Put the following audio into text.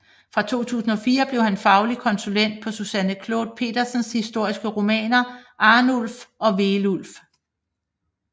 Fra 2004 blev han faglig konsulent på Susanne Clod Pedersens historiske romaner Arnulf og Veulf